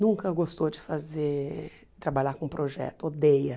Nunca gostou de fazer trabalhar com projeto, odeia.